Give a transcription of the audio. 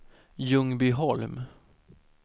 Ljungbyholm